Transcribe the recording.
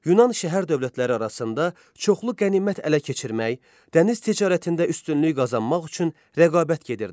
Yunan şəhər dövlətləri arasında çoxlu qənimət ələ keçirmək, dəniz ticarətində üstünlük qazanmaq üçün rəqabət gedirdi.